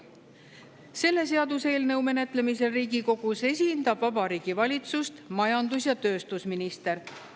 Selle seaduseelnõu menetlemisel Riigikogus esindab Vabariigi Valitsust majandus‑ ja tööstusminister.